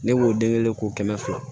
Ne b'o de kelen kelen k'o kɛmɛ fila